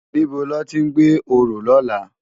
Nibó lòti n gbé óró lòlá?